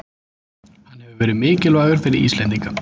Hann hefur verið mikilvægur fyrir Íslendinga